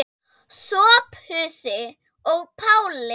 Sophusi og Páli.